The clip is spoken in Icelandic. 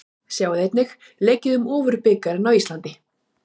Sjá einnig: Leikið um Ofurbikarinn á Íslandi?